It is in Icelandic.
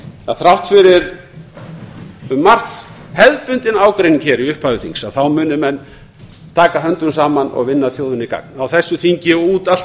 að þrátt fyrir um margt hefðbundinn ágreining í upphafi þings þá muni menn taka höndum saman og vinna þjóðinni gagn á þessu þingi og út allt